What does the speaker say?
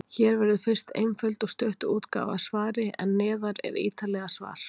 Hér verður fyrst einföld og stutt útgáfa af svari, en neðar er ítarlegra svar.